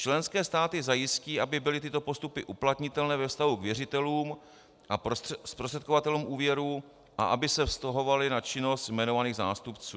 Členské státy zajistí, aby byly tyto postupy uplatnitelné ve vztahu k věřitelům a zprostředkovatelům úvěru a aby se vztahovaly na činnost jmenovaných zástupců."